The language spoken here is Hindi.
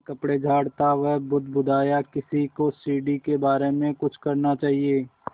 अपने कपड़े झाड़ता वह बुदबुदाया किसी को सीढ़ी के बारे में कुछ करना चाहिए